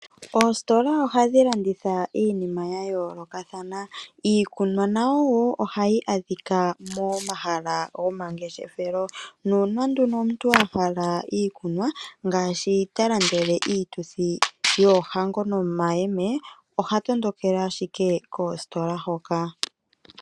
Oositola ohadhi landitha iinima yayoolokathana iikunwa nayo woo ohayi adhika momahala gomangefeshelo nuuna nduno omuntu ahala iikunwa ngaashi talandele iituthi yoohango nomayeme oha tondokele ashike koositola dhoka.